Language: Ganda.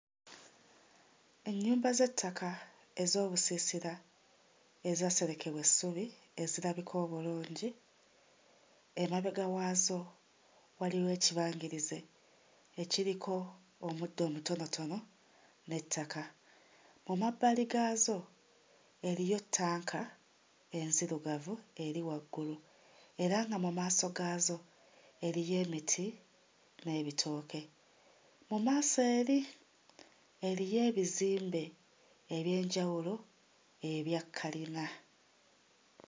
Ennyumba z'ettaka ez'obusiisira ezaaserekebwa essubi ezirabika obulungi, emabega waazo waliwo ekibangirizi ekiriko omuddo omutonotono, n'ettaka. Mu mabbali gaazo eriyo ettanka enzirugavu eri waggulu era nga mu maaso gaazo eriyo emiti n'ebitooke. Mu maaso eri eriyo ebizimbe eby'enjawulo ebya kkalina